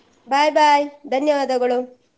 Bye bye ಧನ್ಯವಾದಗಳು.